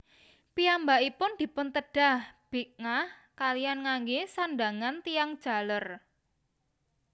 Piyambakipun dipuntedhah bidngaah kaliyan nganggé sandhangan tiyang jaler